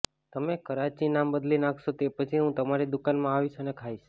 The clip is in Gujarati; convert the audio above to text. તમે કરાચી નામ બદલી નાખશો તે પછી હું તમારી દુકાનમાં આવીશ અને ખાઈશ